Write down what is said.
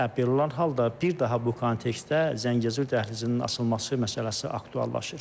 Belə olan halda bir daha bu kontekstdə Zəngəzur dəhlizinin açılması məsələsi aktuallaşır.